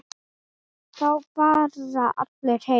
Þá fara allir heim.